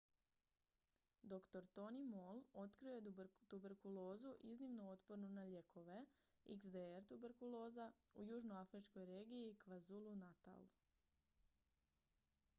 dr. tony moll otkrio je tuberkulozu iznimno otpornu na lijekove xdr-tb u južnoafričkoj regiji kwazulu-natal